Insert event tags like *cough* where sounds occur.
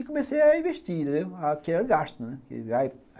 E comecei a investir, *unintelligible* gasto.